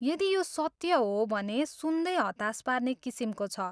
यदि यो सत्य हो भने, सुन्दै हतास पार्ने किसिमको छ।